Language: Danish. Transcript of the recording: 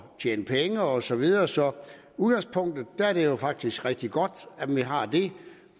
og tjene penge og så videre så i udgangspunktet er det jo faktisk rigtig godt at man har det